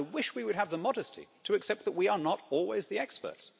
I wish we would have the modesty to accept that we are not always the experts.